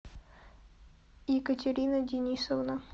екатерина денисовна